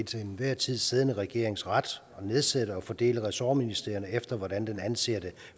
til enhver tid siddende regerings ret at nedsætte og fordele ressortministerierne efter hvad den anser